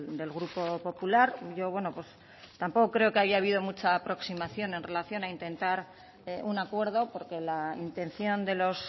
del grupo popular yo tampoco creo que haya habido mucha aproximación en relación a intentar un acuerdo porque la intención de los